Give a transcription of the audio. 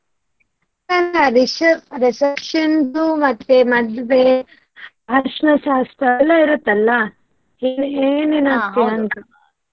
ಎಲ್ಲಾ reception ದು ಮತ್ತೆ ಮದ್ವೆ, ಅರಶಿನ ಶಾಸ್ತ್ರ ಅದೆಲ್ಲಾ ಇರತ್ತಲ್ಲ, ಏನು ಏನು ಹಾಕ್ತೀಯ ಅಂತ?